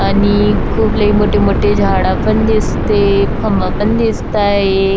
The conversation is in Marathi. आणि खूप लई मोठे-मोठे झाडा पण दिसते खंबा दिसताय.